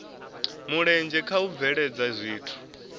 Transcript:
mulenzhe kha u bveledza zwithu